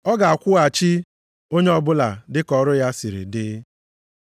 Ọ ga-akwụghachi onye ọbụla dịka ọrụ ya siri dị. + 2:6 \+xt Abụ 62:12; Ilu 24:12\+xt*